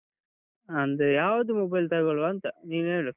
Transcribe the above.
ಅಂದ್ರೆ ಯಾವ್ದು mobile ತಗೊಳ್ವಾ ಅಂತ? ನೀನು ಹೇಳು.